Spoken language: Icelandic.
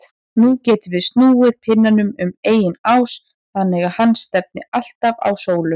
Nú getum við snúið pinnanum um eigin ás þannig að hann stefni alltaf á sólu.